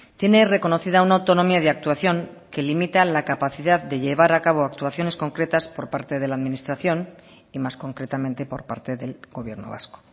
tiene reconocida una autonomía de actuación que limitan la capacidad de llevar a cabo actuaciones concretas por parte de la administración y más concretamente por parte del gobierno vasco